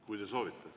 Kui te soovite.